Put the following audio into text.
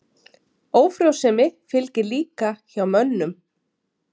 Ófrjósemi fylgir líka hjá mönnum.